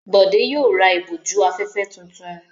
Bọ̀dé yóò ra ìbòjú-afẹ́fẹ́ tuntun.